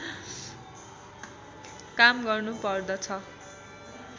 काम गर्नुपर्दछ